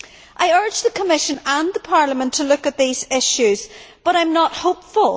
I urge the Commission and Parliament to look at these issues, but I am not hopeful.